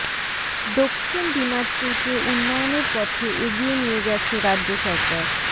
দক্ষিণ দিনাজপুরকে উন্নয়নের পথে এগিয়ে নিয়ে গেছে রাজ্য সরকার